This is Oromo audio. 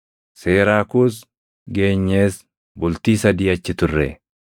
Seraakuus geenyees bultii sadii achi turre.